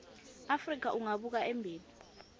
afrika ungabuka embili